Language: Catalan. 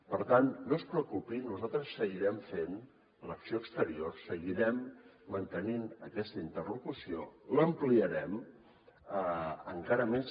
per tant no es preocupi nosaltres seguirem fent l’acció exterior seguirem mantenint aquesta interlocució l’ampliarem encara més